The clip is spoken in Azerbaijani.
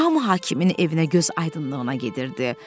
Hamı hakimin evinə gözaydınlığına gedirdi.